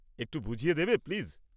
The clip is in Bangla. একটু বুঝিয়ে দেবে, প্লিজ?